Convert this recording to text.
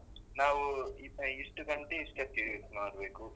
ನಾವು ಇಷ್ಟು ಗಂಟೆ ಇಷ್ಟಕ್ಕೆ ಮಾಡ್ಬೇಕು